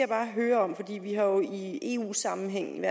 bare høre om vi har jo i i eu sammenhæng